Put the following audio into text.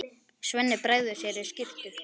Svenni bregður sér í skyrtu.